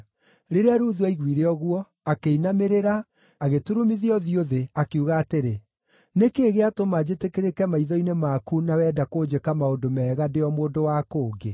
Rĩrĩa Ruthu aiguire ũguo, akĩinamĩrĩra, agĩturumithia ũthiũ thĩ. Akiuga atĩrĩ, “Nĩ kĩĩ gĩatũma njĩtĩkĩrĩke maitho-inĩ maku na wenda kũnjĩka maũndũ mega, ndĩ o mũndũ wa kũngĩ?”